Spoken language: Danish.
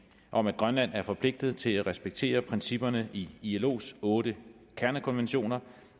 om at grønland er forpligtet til at respektere principperne i ilos otte kernekonventioner